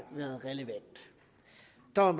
når